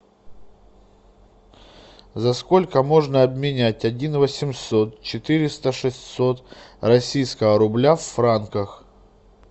за сколько можно обменять один восемьсот четыреста шестьсот российского рубля в франках